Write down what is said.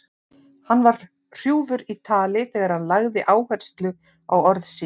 Hann var hrjúfur í tali þegar hann lagði áherslu á orð sín.